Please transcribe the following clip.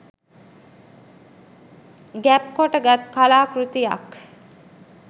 ගැබ් කොට ගත් කලා කෘතියක්